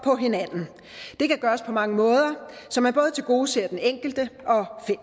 og hinanden det kan gøres på mange måder så man både tilgodeser den enkelte